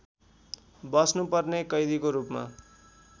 बस्नुपर्ने कैदीको रूपमा